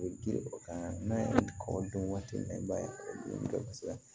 O bɛ girin o kan n'a ye kɔ don waati min na i b'a ye o dɔn kosɛbɛ